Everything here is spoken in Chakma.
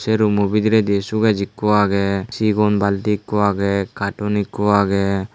sey rummo bidiredi suges ikko agey sigon baldi ikko agey katon ikko agey.